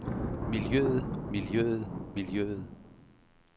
miljøet miljøet miljøet